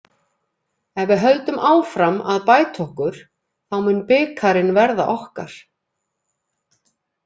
Ef við höldum áfram að bæta okkur þá mun bikarinn verða okkar.